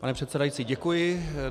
Pane předsedající, děkuji.